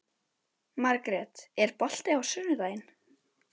Margrjet, er bolti á sunnudaginn?